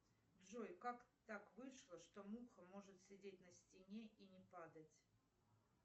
джой как так вышло что муха может сидеть на стене и не падать